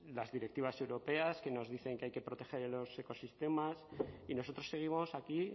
las directivas europeas que nos dicen que hay que proteger los ecosistemas y nosotros seguimos aquí